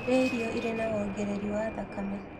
Rĩa irio irĩ na wongereri wa thakame